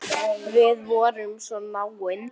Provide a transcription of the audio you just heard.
Við vorum svo náin.